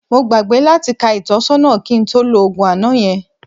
Mo gbàgbé láti ka ìtọ́sọ́nà kí n tó lo òògùn àná yẹn